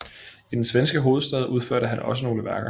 I den svenske hovedstad udførte han også nogle værker